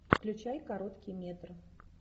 включай короткий метр